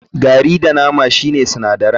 Gari da nama shine sinadaran.